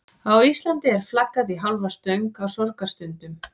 Á Íslandi er flaggað í hálfa stöng á sorgarstundum.